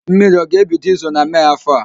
Mmiri ọ ga-ebido izo na Mee áfọ̀ a?